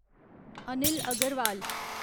Anil Agarwal